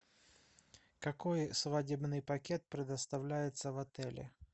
какой свадебный пакет предоставляется в отеле